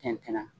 Tɛntɛnna